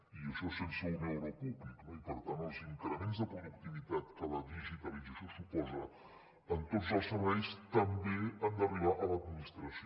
i això sense un euro públic no i per tant els increments de productivitat que la digitalització suposa en tots els serveis també han d’arribar a l’administració